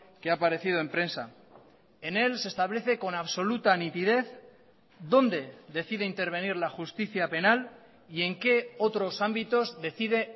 que ha aparecido en prensa en él se establece con absoluta nitidez dónde decide intervenir la justicia penal y en qué otros ámbitos decide